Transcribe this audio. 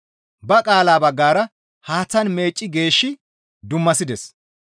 Ba qaala baggara haaththan meecci geeshshi dummasides.